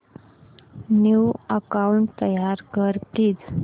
new account तयार कर please